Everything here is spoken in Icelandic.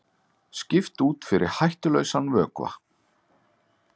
Skipt út fyrir hættulausan vökva